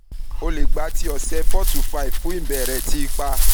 o le gba to ọsẹ four to five fun ibẹrẹ ti ipa